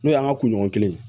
N'o y'an ka kunɲɔgɔn kelen